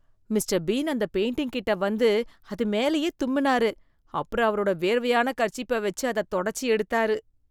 Mister Bean அந்த painting கிட்ட வந்து அதுமேலயே தும்மினாரு. அப்புறம் அவரோட வேர்வையான கர்ச்சீப்ப வச்சு அதை தொடச்சி எடுத்தாரு.